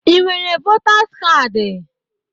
Ị nwere votaz kaadị?